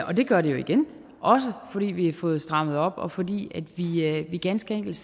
og det gør det jo igen også fordi vi har fået strammet op og fordi vi ganske enkelt